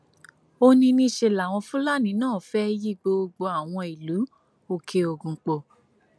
ó ní níṣẹ làwọn fúlàní náà fẹẹ yìí gbogbo àwọn ìlú òkèogun pọ